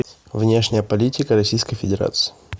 внешняя политика российской федерации